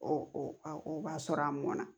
O o b'a sɔrɔ a mɔnna